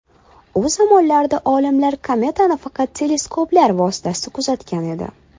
U zamonlarda olimlar kometani faqat teleskoplar vositasida kuzatgan edi.